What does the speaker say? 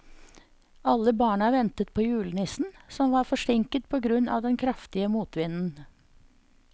Alle barna ventet på julenissen, som var forsinket på grunn av den kraftige motvinden.